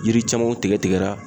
Yiri camanw tigɛ tigɛra